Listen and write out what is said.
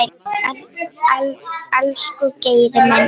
Elsku Geiri minn.